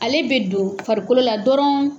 Ale bɛ don farikolo la dɔrɔn